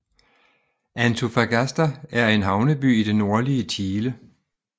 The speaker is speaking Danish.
Antofagasta er en havneby i det nordlige Chile